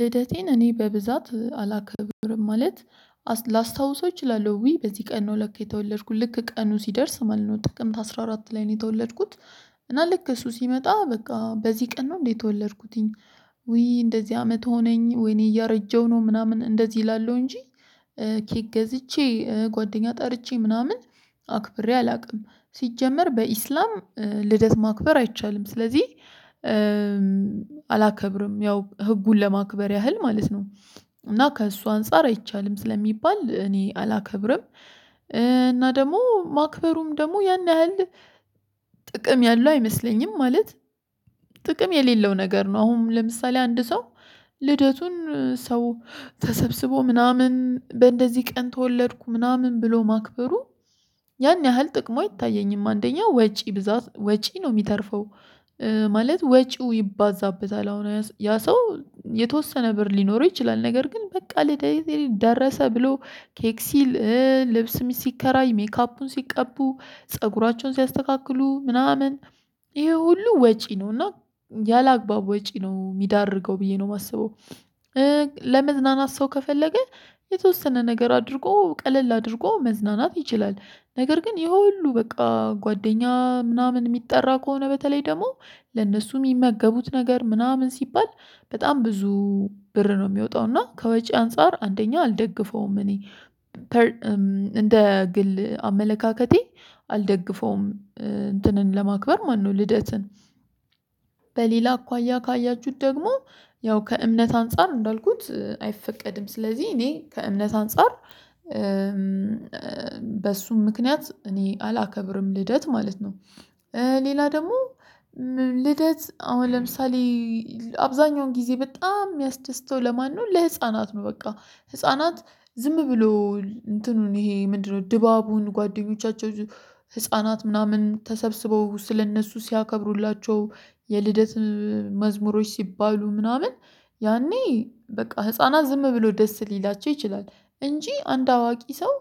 ልደቴን እኔ በብዛት አላከብርም ማለት ላስታውሰው እችላለሁ ውይ በዚህ ቀን ነው ለካ የተወለድኩት ልክ ቀኑ ሲደርስ ማለት ነው ጥቅምት አስራ አራት ላይ ነው የተወለድኩት። እና ልክ እሱ ሲመጣ በቃ በዚህ ቀን ነው እንዴ የተወለድኩትኝ? ውይ እንደዚህ አመት ሆነኝ ወይኔ እያረጀሁ ነው ምናምን እንደዚህ እላለው እንጂ ኬክ ገዝቼ ጓደኛ ጠርቼ ምናምን አክብሬ አላውቅም። ሲጀመር በኢስላም ልደት ማክበር አይቻልም ስለዚህ ያው ህጉን ለማክበር ያህል ማለት ነው። እና ከእሱ አንፃር አይቻልም ስለሚባል እኔ አላከብርም። እና ደግሞ ማክበሩም ደግሞ ያን ያህል ጥቅም ያለው አይመስለኝም። ማለት ጥቅም የሌለው ነገር ነው። አሁን ለምሳሌ አንድ ሰው ልደቱን ሰው ተሰብስቦ ምናምን በእንደዚህ ቀን ተወለድኩ ምናምን ብሎ ማክበሩ። ያን ያህል ጥቅሙ አይታየኝም አንደኛ ወጪ ብዛት ወጪ ነው የሚተርፈው። ማለት ወጪው ይባዛበታል አሁን ያ ሰው የተወሰነ ብር ሊኖረው ይችላል። ነገር ግን በቃ ልደቴ ደረሰ ብሎ ኬክ ሲል ልብስም ሲከራይ ሜካፑን ሲቀቡ ፀጉራቸውን ሲያስተካክሉ ምናምን ይሄ ሁሉ ወጪ ነው እና ያላግባብ ወጪ ነው የሚዳርገው ብዬ ነው የማስበው። ለመዝናናት ሰው ከፈለገ የተወሰነ ነገር አድርጎ ቀለል አድርጎ መዝናናት ይችላል። ነገር ግን ይሄ ሁሉ በቃ ጓደኛ ምናምን የሚጠራ ከሆነ በተለይ ደግሞ ለነሱ የሚመገቡት ነገር ምናምን ሲባል በጣም ብዙ ብር ነው የሚወጣው እና ከወጪ አንፃር አንደኛ አልደግፈውም። እኔ እንደ ግል አመለካከቴ አልደግፈውም። እንትንን ለማክበር ማነው ልደትን? በሌላ አኳያ ካያችሁት ደግሞ ያው ከእምነት አንፃር እንዳልኩት አይፈቀድም። ስለዚህ እኔ ከእምነት አንፃር በሱም ምክንያት እኔ አላከብርም ልደት ማለት ነው። ሌላ ደግሞ ልደት አሁን ለምሳሌ አብዛኛውን ጊዜ በጣም የሚያስደስተው ለማን ነው ለህፃናት ነው። በቃ ህፃናት ዝም ብሎ እንትኑን ይሄ ምንድነው ድባቡን ጓደኞቻቸው ህፃናት ምናምን ተሰብስበው ስለእነሱ ሲያከብሩላቸው የልደት መዝሙሮች ሲባሉ ምናምን ያኔ በቃ ህፃናት ዝም ብሎ ደስ ሊላቸው ይችላል። እንጂ አንድ አዋቂ ሰው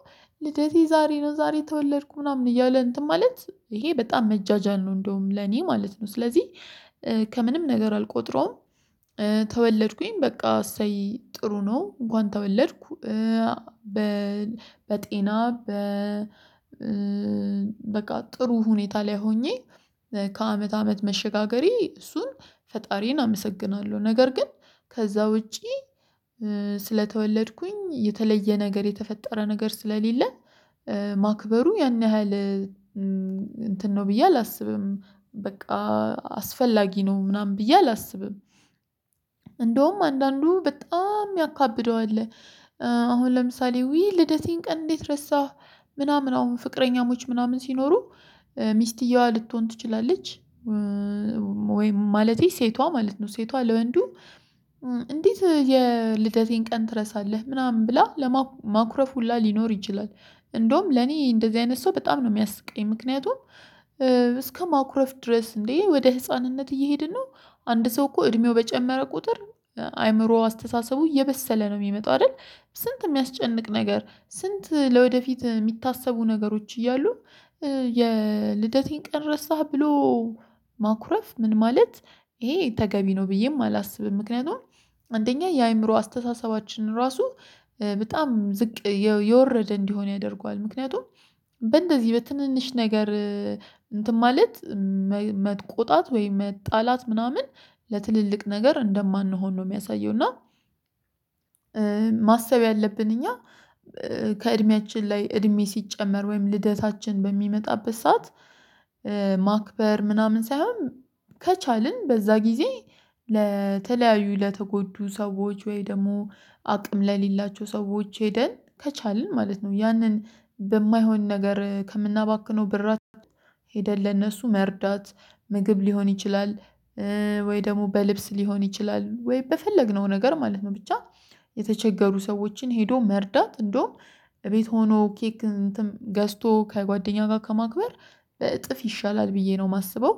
ልደቴ ዛሬ ነው ዛሬ ተወለድኩ ምናምን እያለ እንትን ማለት ይሄ በጣም መጃጃል ነው። እንደውም ለኔ ማለት ነው ስለዚህ ከምንም ነገር አልቆጥረውም። ተወለድኩኝ በቃ እሰይ ጥሩ ነው እንኳን ተወለድኩ። በ በጤና በ በቃ ጥሩ ሁኔታ ላይ ሆኜ ከአመት አመት መሸጋገሬ እሱን ፈጣሪዬን አመሰግናለሁ። ነገር ግን ከዛ ውጪ ስለተወለድኩኝ የተለየ ነገር የተፈጠረ ነገር ስለሌለ። ማክበሩ ያን ያህል እንትን ነው ብዬ አላስብም። በቃ አስፈላጊ ነው ምናምን ብዬ አላስብም። እንደውም አንዳንዱ በጣም የሚያካብደው አለ አሁን ለምሳሌ ውይ ልደቴን ቀን እንዴት ረሳህ? ምናምን አሁን ፍቅረኛሞች ምናምን ሲኖሩ ሚስትየዋ ልትሆን ትችላለች። ወይም ማለቴ ሴቷ ማለት ነው ሴቷ ለወንዱ እንዴት የልደቴን ቀን ትረሳለህ ምናምን ብላ ለማኩረፍ ሁላ ሊኖር ይችላል። እንደውም ለኔ እንደዚህ አይነት ሰው በጣም ነው የሚያስቀኝ ምክንያቱም። ድረስ እንዴ ወደ ህፃንነት እየሄድን ነው። አንድ ሰው እኮ እድሜው በጨመረ ቁጥር አይምሮ አስተሳሰቡ እየበሰለ ነው የሚመጣው አይደል? ስንት የሚያስጨንቅ ነገር ስንት ለወደፊት የሚታሰቡ ነገሮች እያሉ የልደቴን ቀን ረሳህ ብሎ። ማኩረፍ ምን ማለት ይሄ ተገቢ ነው ብዬም አላስብም። ምክንያቱም አንደኛ የአእምሮ አስተሳሰባችንን ራሱ በጣም ዝቅ የወረደ እንዲሆን ያደርገዋል። ምክንያቱም በእንደዚህ በትንንሽ ነገር እንትን ማለት መቆጣት ወይም መጣላት ምናምን ለትልልቅ ነገር እንደማንሆን ነው የሚያሳየው እና። ማሰብ ያለብን እኛ ከእድሜያችን ላይ እድሜ ሲጨመር ወይም ልደታችን በሚመጣበት ሰዓት ማክበር ምናምን ሳይሆን። ከቻልን በዛ ጊዜ ለተለያዩ ለተጎዱ ሰዎች ወይ ደግሞ አቅም ለሌላቸው ሰዎች ሄደን ከቻልን ማለት ነው ያንን በማይሆን ነገር ከምናባክነው ብር ሄደን ለነሱ መርዳት ምግብ ሊሆን ይችላል። ወይ ደግሞ በልብስ ሊሆን ይችላል ወይ በፈለግነው ነገር ማለት ነው ብቻ። የተቸገሩ ሰዎችን ሄዶ መርዳት እንደውም እቤት ሆኖ ኬክ ገዝቶ ከጓደኛ ጋር ከማክበር በእጥፍ ይሻላል ብዬ ነው የማስበው።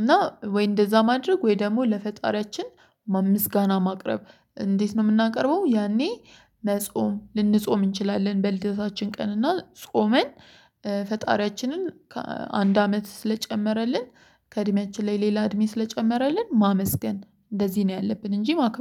እና ወይ እንደዛ ማድረግ ወይ ደግሞ ለፈጣሪያችን ምስጋና ማቅረብ እንዴት ነው የምናቀርበው? ያኔ መጾም ልንጾም እንችላለን። በልደታችን ቀን እና ጾመን ፈጣሪያችንን ከ አንድ አመት ስለጨመረልን ከእድሜያችን ላይ ሌላ እድሜ ስለጨመረልን ማመስገን። እንደዚህ ነው ያለብን እንጂ ማክበር